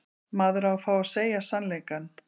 Maður á að fá að segja sannleikann.